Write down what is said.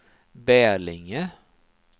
Bälinge